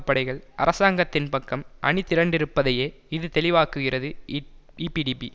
படைகள் அராசங்கத்தின் பக்கம் அணிதிரண்டிருப்பதையே இது தெளிவாக்குகிறது ஈப் ஈபிடிபி